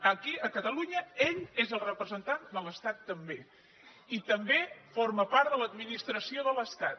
aquí a catalunya ell és el representant de l’estat també i també forma part de l’administració de l’estat